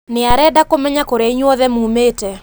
Nĩ arenda kũmenya kũria inyuothe mumĩĩte